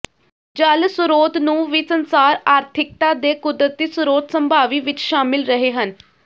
ਜਲ ਸਰੋਤ ਨੂੰ ਵੀ ਸੰਸਾਰ ਆਰਥਿਕਤਾ ਦੇ ਕੁਦਰਤੀ ਸਰੋਤ ਸੰਭਾਵੀ ਵਿੱਚ ਸ਼ਾਮਿਲ ਰਹੇ ਹਨ